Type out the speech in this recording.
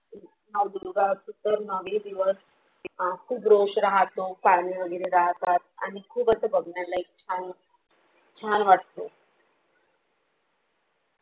नाव दुर्गा असतो तर नवे दिवस तेव्हा खूब राहतो पाने वगैरे राहतात आणि खूप अस बघण्यालायक छान छान वाटतो